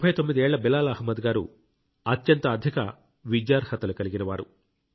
39 ఏళ్ల బిలాల్ అహ్మద్ గారు అత్యంత అధిక అర్హతలు కలిగినవారు